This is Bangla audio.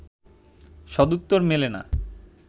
সদুত্তর মেলে না